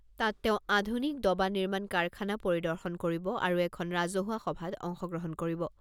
তাত তেওঁ আধুনিক ডবা নিৰ্মাণ কাৰখানা পৰিদৰ্শন কৰিব আৰু এখন ৰাজহুৱা সভাত অংশগ্ৰহণ কৰিব।